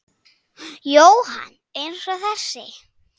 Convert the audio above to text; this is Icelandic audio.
Jóhann: Eins og þessi?